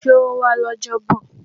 Ṣé ó wá lọ́jọ́bọ̀?